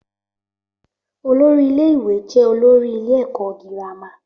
Olórí ilé ìwé jẹ́ olórí ilé èkọ́ girama